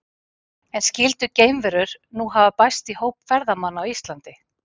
En skyldu geimverur nú hafa bæst í hóp ferðamanna á Íslandi?